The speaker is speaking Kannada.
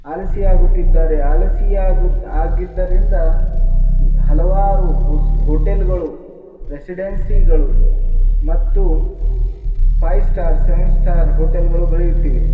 ಆಲಸಿ ಆಗುತಿದ್ದಾರೆ ಆಲಸಿ ಆಗಿದ್ದರಿಂದ ಹಲವಾರು ಹೋಟೆಲ್ ಗಳು ರೆಸಿಡೆನ್ಸಿ ಗಳು ಮತ್ತು five star seven star hotel ಗಳು ಬೆಳೆಯುತ್ತಿವೆ.